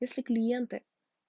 если клиенты